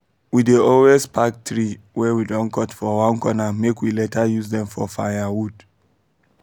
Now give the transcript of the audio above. we dey always um pack tree wey we don cut for one corner make we later use dem for firewood